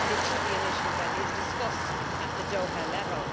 It should be an issue that is discussed at the Doha level.